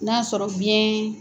N'a sɔrɔ fiɲɛn